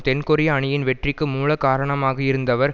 தென்கொரிய அணியின் வெற்றிக்கு மூலகாரணமாகயிருந்தவர்